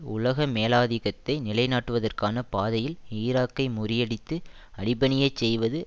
உலக மேலாதிக்கத்தை நிலைநாட்டுவதற்கான பாதையில் ஈராக்கை முறியடித்து அடிப்பணியச் செய்வது